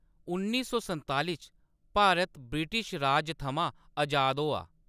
उन्नी सौ संताली च भारत ब्रिटिश राज थमां अजाद होआ।